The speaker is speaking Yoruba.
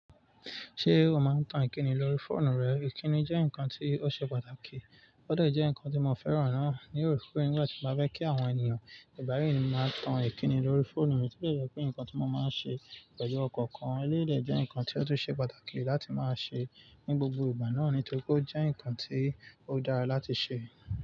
Ṣé o máa ń tan ìkíni lórí fóònù rẹ? Ìkíni jẹ́ nǹkan tí ó ṣe pàtàkì, ó de jẹ́ nǹkan tí mo fẹ́ràn náà. Nigba mii tí mo bá fẹ́ kí àwọn ènìyàn ìgbà mii má tan ìkíni lórí phone mi ó dẹ̀ jẹ́ pé nǹkan tí mo máa ń ṣe pẹ̀lú ọkọ̀ kan eléyìí dẹ̀ jẹ́ nǹkan tí ó tún ṣe pàtàkì láti máa ṣe ní gbogbo ìgbà náà, nítorí pó jẹ́ nǹkan tí ó dára láti ṣe.